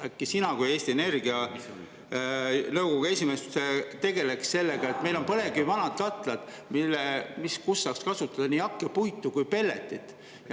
Äkki sina kui Eesti Energia nõukogu esimees tegeleks sellega, et meil on vanad põlevkivikatlad, kus saaks kasutada nii hakkepuitu kui pelletit.